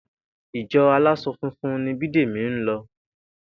Ìjo̩ alás̩o̩ funfun ni Bídèmí ń lo̩